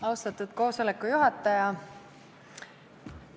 Austatud koosoleku juhataja!